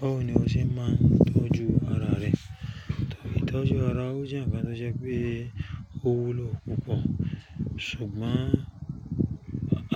Báwo ni o ṣe máa ń tọ́jú ara rẹ? Tọ́jú ara ó jẹ́ ǹkan tó jẹ́ pé ó wúlò púpọ̀. Ṣùgbọ́n